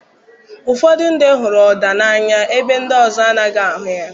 Ụfọdụ ndị hụrụ Oda n'anya ebe ndị ọzọ anaghị ahụ ya.